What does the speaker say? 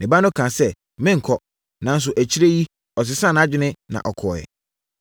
“Ne ba no kaa sɛ, ‘Merenkɔ,’ nanso akyire yi, ɔsesaa nʼadwene na ɔkɔeɛ.